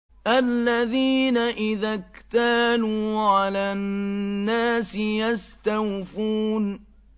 الَّذِينَ إِذَا اكْتَالُوا عَلَى النَّاسِ يَسْتَوْفُونَ